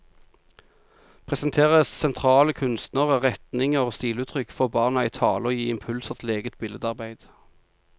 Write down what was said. Presentere sentrale kunstnere, retninger og stiluttrykk, få barna i tale og gi impulser til eget billedarbeid.